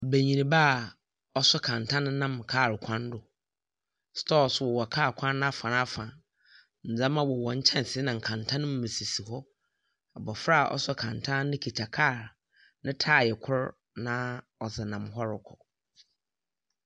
Banyinba a ɔso kɛntɛn nam kaar kwan do. Stɔɔs wowɔ kaar kwan n'afa na afa. Ndzɛma wowɔ nkyɛnsee na nkɛntɛn no mu sisi hɔ. Abɔfra a ɔso kɛntɛn no kita kaar a ne tae kor na ɔdze nam ɔrekɔ.